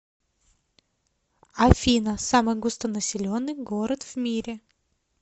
афина самый густонаселенный город в мире